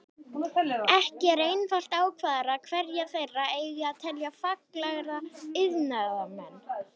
Ekki er einfalt að ákvarða hverja þeirra eigi að telja faglærða iðnaðarmenn.